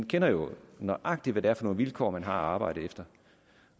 jo nøjagtig hvad det er for nogle vilkår man har at arbejde efter